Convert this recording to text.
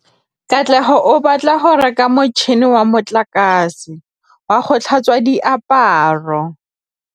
Katlego o batla go reka motšhine wa motlakase wa go tlhatswa diaparo.